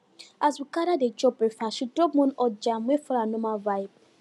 as we gather dey chop breakfast she drop one hot jam wey follow her normal vibe